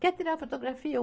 Quer tirar fotografia?